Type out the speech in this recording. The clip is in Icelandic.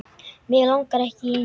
Mig langar ekki í neitt.